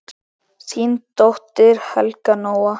Þín dóttir, Helga Nóa.